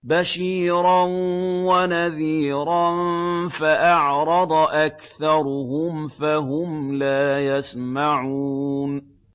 بَشِيرًا وَنَذِيرًا فَأَعْرَضَ أَكْثَرُهُمْ فَهُمْ لَا يَسْمَعُونَ